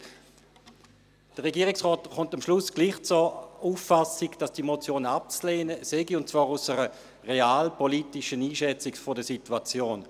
Der Regierungsrat gelangt am Schluss trotzdem zur Auffassung, dass diese Motionen abzulehnen sind, und zwar aufgrund einer realpolitischen Einschätzung der Situation.